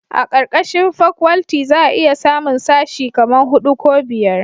a karkashin fakwalti za a iya samun sashi kaman hudu ko biyar